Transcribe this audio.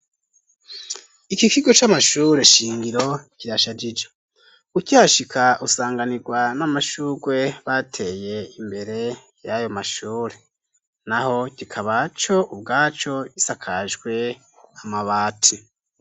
Iki kigo c'amashure shingiro kirashajije ukihashika usanganirwa n'amashurwe bateye imbere yayo mashure naho kikaba co ubwaco gisakajwe amabati